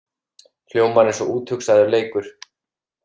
Hljómar eins og úthugsaður leikur